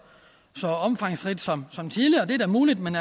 omfangsrigt som som tidligere det er da muligt men